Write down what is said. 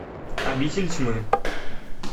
обитель тьмы